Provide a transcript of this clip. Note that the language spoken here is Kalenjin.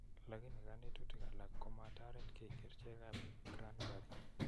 Lakini kanetutik alak, komataret ki kerchekap Cranburry